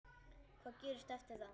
Hvað gerist eftir það?